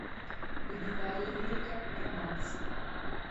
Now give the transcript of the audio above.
гнилаялирика романс